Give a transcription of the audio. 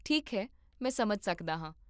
ਠੀਕ ਹੈ, ਮੈਂ ਸਮਝ ਸਕਦਾ ਹਾਂ